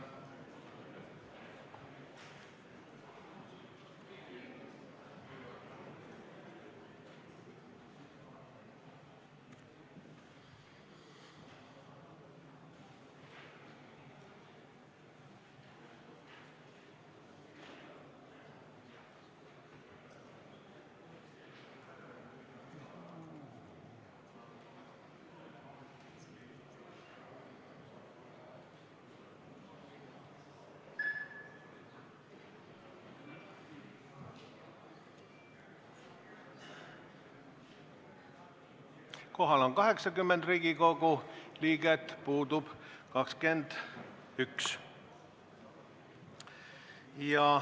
Kohaloleku kontroll Kohal on 80 Riigikogu liiget, puudub 21.